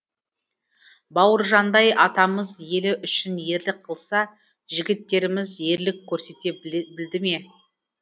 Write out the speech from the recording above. бауыржандай атамыз елі үшін ерлік қылса жігіттеріміз ерлік көрсете білді ме